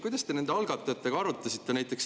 Kuidas te nende algatajatega seda asja arutasite?